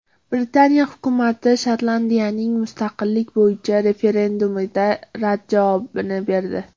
Britaniya hukumati Shotlandiyaning mustaqillik bo‘yicha referendumiga rad javobini berdi.